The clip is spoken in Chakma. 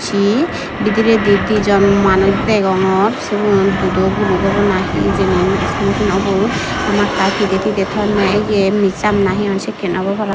si bidiredi dijon manuj degongor sibun dudo guluk obo na hijeni naw sino naw sinong ubon hamakkai pidey tidey tonney ye missap na he hon sekkey obo parapang.